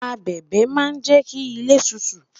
abẹbẹ ma je ki ile tutu